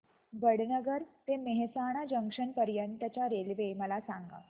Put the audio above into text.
वडनगर ते मेहसाणा जंक्शन पर्यंत च्या रेल्वे मला सांगा